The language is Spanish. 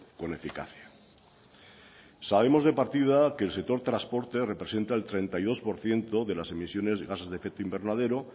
con eficacia sabemos de partida que el sector transporte representa el treinta y dos por ciento de las emisiones de gases de efecto invernadero